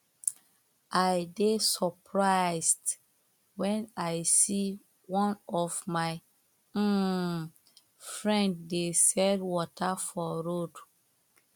i dey surprised when i see one of my um friend dey sell water for road